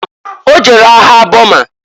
O jere agha Boma.